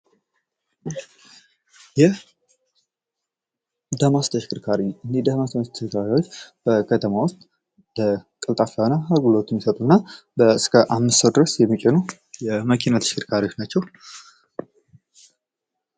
ዳማስ ተሽከርካሪ እኝህ ተሽከርካሪዎች በከተማ ውስጥ ቀልጣፋ አገልግሎት የሚሰጡና እስከ አምስት ሰው ድረስ የሚችሉ የመኪና ተሽከርካሪዎች ናቸው።